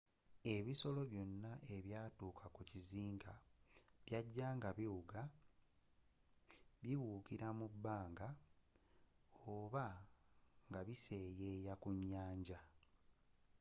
ebisolo byonna ebyatuuka ku kizinga byajja nga biwuga bibuukila mu bbanga oba nga biseyeya ku nyanja